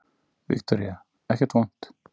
Viktoría: Ekkert vont?